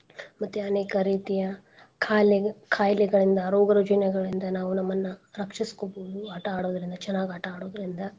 ಮತ್ತೆ ಅನೇಕ ರೀತಿಯ ಖಾಲೇ~ ಖಾಯ್ಲೆಗಳಿಂದ ರೋಗರುಜಿನೆಗಳಿಂದ ನಾವ್ ನಮ್ಮನ್ನ ರಕ್ಷಿಸ್ಕೋಬೋದು ಆಟಾ ಆಡೋದ್ರಿಂದ ಚನಾಗ್ ಆಟಾ ಆಡೋದ್ರಿಂದ.